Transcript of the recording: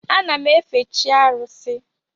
Ana m efe chi arusi.